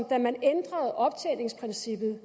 da man ændrede optjeningsprincippet